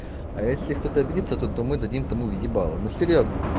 а если кто-то обидится то мы дадим тому в ебало ну серьёзно